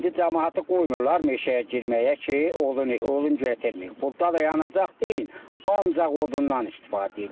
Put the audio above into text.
İndi camaatı qoymurlar meşəyə girməyə ki, odun, odun gətirməyib, burda da yanacaq deyil, ancaq odunnan istifadə edirlər.